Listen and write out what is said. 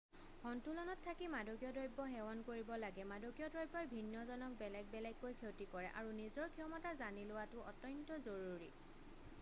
সন্তুলনত থাকি মাদকীয় দ্ৰৱ্য সেৱন কৰিব লাগে মাদকীয় দ্ৰব্যই ভিন্ন জনক বেলেগ বেলেগকৈ ক্ষতি কৰে আৰু নিজৰ ক্ষমতা জানি লোৱাটো অত্যন্ত জৰুৰী